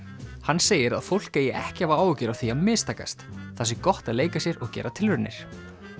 hann segir að fólk eigi ekki að hafa áhyggjur af því að mistakast það sé gott að leika sér og gera tilraunir